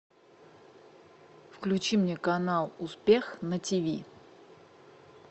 включи мне канал успех на тиви